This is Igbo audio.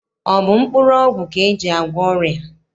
Ọ bụ mkpụrụọgwụ ka e ji agwọ ọrịa?